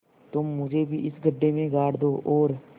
तुम मुझे भी इस गड्ढे में गाड़ दो और